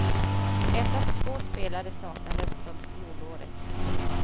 Endast två spelare saknades från fjolårets final.